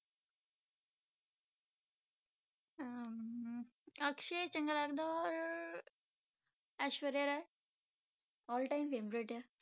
ਅਹ ਅਮ ਅਕਸ਼ੇ ਚੰਗਾ ਲੱਗਦਾ ਔਰ Aishwarya Rai all time favourite ਹੈ